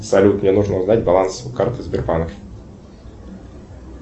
салют мне нужно узнать баланс карты сбербанк